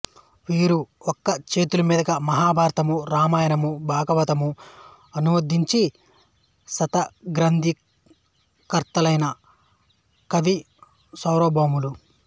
వీరు ఒక్కచేతిమీదుగా మహాభారతము రామాయణము భాగవతము అనువదించి శతాధికగ్రంధకర్తలైన కవిసార్వభౌములు